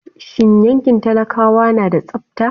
Shin yankin talakawa na da tsabta?